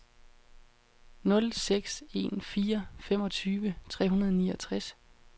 nul seks en fire femogtyve tre hundrede og niogtres